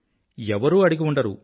ఎవ్వరూ అడిగిఉండరు